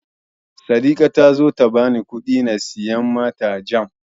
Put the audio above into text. Saddika ta so ta bani kuɗi na siyo mata Jam.